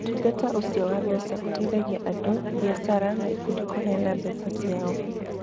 Ũtungata ũcio wa mbeca ũteithagia andũ, biacara, na ikundi kũheana mbeca ciao.